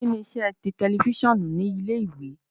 Kini iṣẹ ti tẹlifisiọnu ni ile-iwe?